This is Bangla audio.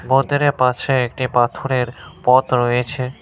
মন্দিরের পাশে একটি পাথরের পথ রয়েছে।